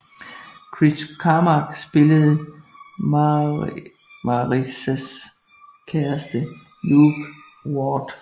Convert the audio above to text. Chris Carmack spillede Marissas kæreste Luke Ward